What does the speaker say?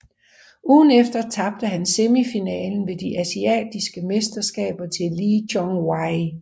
Ugen efter tabte han semifinalen ved de asiatiske mesterskaber til Lee Chong Wei